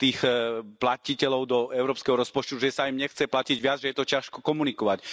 čistých platiteľov do európskeho rozpočtu, že sa im nechce platiť viac, že je to ťažko komunikovať.